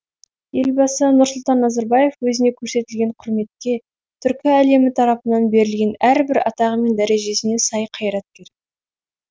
елбасы нұрсұлтан назарбаев өзіне көрсетілген құрметке түркі әлемі тарапынан берілген әрбір атағы мен дәрежесіне сай қайраткер